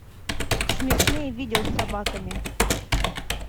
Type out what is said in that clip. смешные видео с собаками